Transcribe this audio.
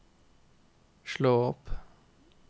slå opp